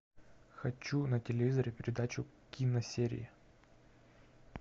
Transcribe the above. хочу на телевизоре передачу киносерии